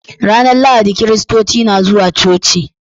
Ranar Lahadi Kiristoci na zuwa coci.